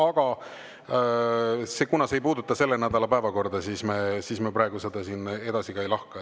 Aga kuna see ei puuduta selle nädala päevakorda, siis me praegu seda siin edasi ei lahka.